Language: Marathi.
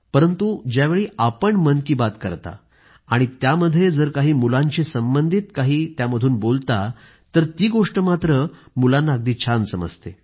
परंतु ज्यावेळी आपण मन की बात करता आणि त्यामध्ये जर काही मुलांशी संबंधित आपण काही त्यामधून बोलता ती गोष्ट मात्र मुलांना अगदी छान समजते